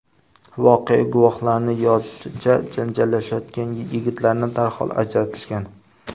Voqea guvohlarining yozishicha janjallashayotgan yigitlarni darhol ajratishgan.